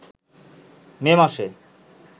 মে মাসে